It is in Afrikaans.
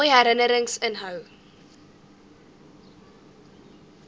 mooi herinnerings inhou